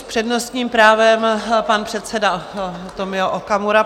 S přednostním právem pan předseda Tomio Okamura.